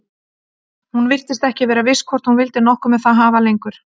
Hún virtist ekki vera viss hvort hún vildi nokkuð með það hafa lengur.